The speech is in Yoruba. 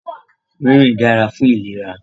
Rìnrìn dára fún ìlera.